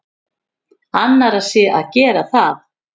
Annarra sé að gera það.